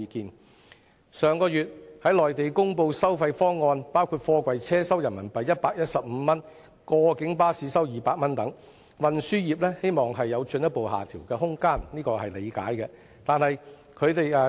對於上月內地公布的收費方案，包括貨櫃車收取115元人民幣、過境巴士收取200元人民幣等，運輸業希望有進一步下調的空間，這是可以理解的。